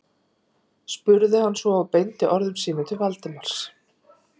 spurði hann svo og beindi orðum sínum til Valdimars.